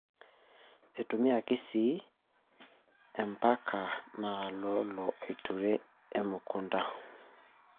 Eitumiyaki sii empanka naololo aaturie emukunta.